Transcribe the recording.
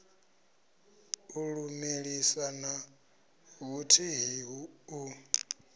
u lumelisa na vhuthihi u